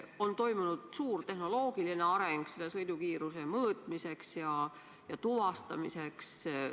On toimunud suur tehnoloogiline areng sõidukiiruse mõõtmisel ja tuvastamisel.